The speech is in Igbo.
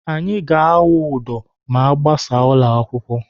Anyị ga-awụ udo ma agbasa ụlọ akwụkwọ.